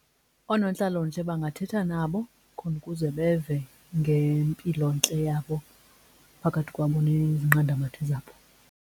Oonontlalontle bangathetha nabo khona ukuze beve ngempilontle yabo phakathi kwabo nezinqandamathe zabo.